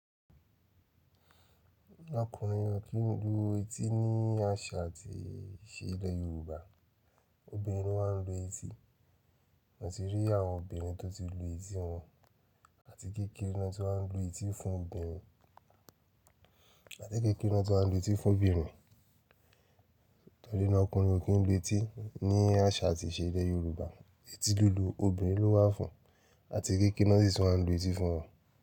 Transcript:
Ọkùnrin ò kí ń lu etí ní àṣà àti ìṣe ilẹ̀ Yorùbá. Obìnrin ló maa ń lu etí. Mo ti rí àwọn obìnrin tó ti lu etí wọn àti kékeré ni won ti wá ń lu etí fún obìnrin, àti kékeré ni won ti wa ń lu etí fún obìnrin, nitori na ọkùnrin ò kí ń lu etí ní àṣà àti ìṣe ilẹ̀ Yorùbá. Etí lílu obìnrin ló wà fún àti kékeré ni wọ́n si ti wa n lu etí fún wọn.